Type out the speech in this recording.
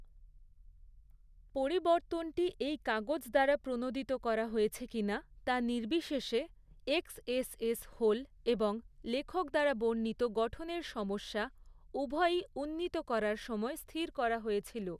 পরিবর্তনটি এই কাগজ দ্বারা প্রণোদিত করা হয়েছে কিনা তা নির্বিশেষে, এক্সএসএস হোল এবং লেখক দ্বারা বর্ণিত গঠনের সমস্যা, উভয়ই উন্নীত করার সময় স্থির করা হয়েছিল৷